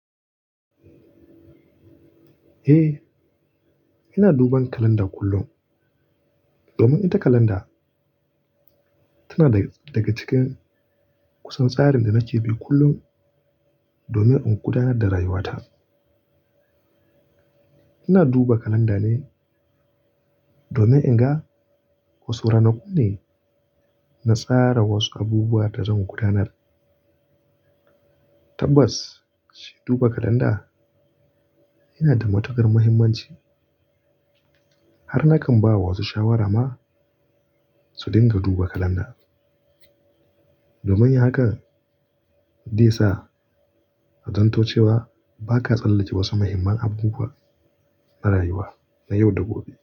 Eh, ina duban kalanda kullum domin ita kalanda tana daga cikin kusan tsarin da nake bi kullum domin in gudanar da rayuwata. Ina duba kalanda ne domin in ga wasu ranakun ne na tsara wasu abubuwa da zan gudanar. Tabbas, shi duba kalanda yana da matuƙar muhimmanci. Har na kan ba wa wasu shawara ma su dinga duba kalanda. Domin yi hakan zai sa ka san cewa ba ka tsallace wasu muhimman abubuwa na rayuwa na yau da gobe.